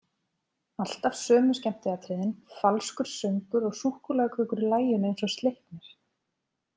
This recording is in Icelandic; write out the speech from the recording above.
Alltaf sömu skemmtiatriðin, falskur söngur og súkkulaðikökur í laginu eins og Sleipnir.